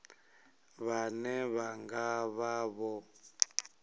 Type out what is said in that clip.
vhane vha nga vha vho